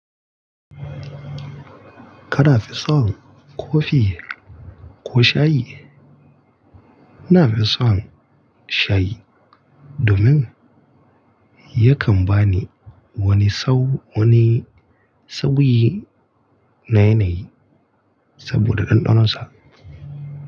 Ka nafi son kofi ko shayi? Na fi son shayi domin yakan ba ni wani sau, wani sauyi na yanayi saboda ɗanɗanonsa.